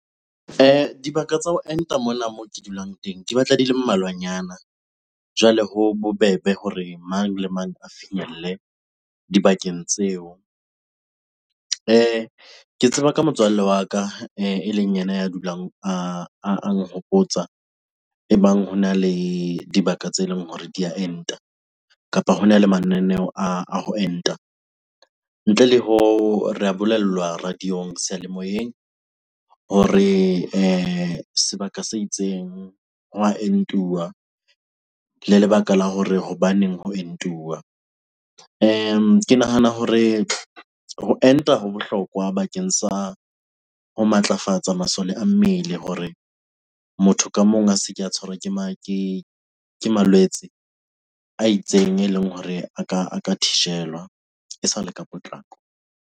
Dibaka tsa ho enta mona moo ke dulang teng di batla di le mmalwanyana. Jwale ho bobebe hore mang le mang a finyelle dibakeng tseo. Ke tseba ka motswalle wa ka eleng ena ya dulang a nhopotsa ebang hona le dibaka tse leng hore di a enta kapa hona le mananeo a ho enta. Ntle le hoo, re a bolellwa radio-ong, seyalemoyeng hore sebaka se itseng ho wa entuwa le lebaka la hore hobaneng ho entuwa. Ke nahana hore ho enta ho bohlokwa bakeng sa ho matlafatsa masole a mmele hore motho ka mong a se ke a tshwarwa ke malwetse a itseng eleng hore a ka thijelwa e sa le ka potlako.